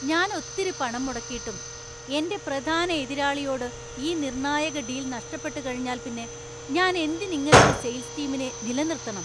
ഞാൻ ഒത്തിരി പണം മുടക്കീട്ടും എന്‍റെ പ്രധാന എതിരാളിയോട് ഈ നിർണായക ഡീല്‍ നഷ്ടപ്പെട്ടുകഴിഞ്ഞാൽ പിന്നെ ഞാൻ എന്തിന് ഇങ്ങനൊരു സെയിൽസ് ടീമിനെ നിലനിർത്തണം?